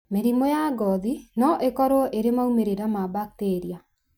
Mĩrimũ ya ngothi no ĩkorwo ĩrĩ maũmĩrĩra ma bakiteria.